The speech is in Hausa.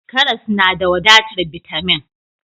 Karas na da wadatar bitamin.